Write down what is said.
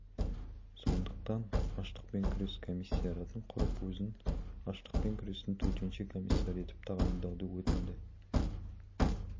сондықтан аштықпен күрес комиссариатын құрып өзін аштықпен күрестің төтенше комиссары етіп тағайындауды өтінді